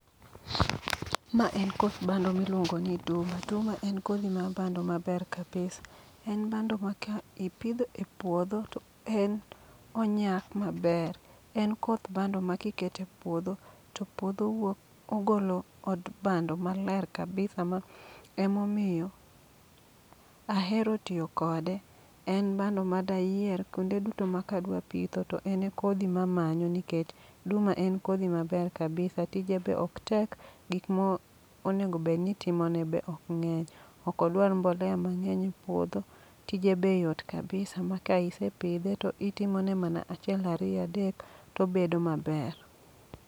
Ma en koth bando miluongo ni Duma, duma en kodhi mar bando maber kabisa. En bando ma ka ipidho e puodho to en onyak maber. En koth bando ma kikete puodho to puodho wuok ogolo od bando mabe kabisa ma emomiyo ahero tiyo kode. En bando ma dayier kuonde duto ma kadwa pitho to en e kodhi mamanyo, nikech duma en kodhi maber kabisa. Tije be ok tek, gik mo onego bedni itimone be ok ng'eny. Okodwar mbolea mang'eny e puodho, tije be yot kabisa ma ka ise pidhe to itimone mana achiel ariya dek, tobedo maber.